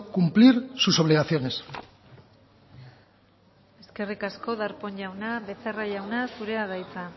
cumplir sus obligaciones eskerrik asko darpón jauna becerra jauna zure da hitza